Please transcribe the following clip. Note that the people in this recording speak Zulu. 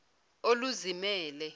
oluzimele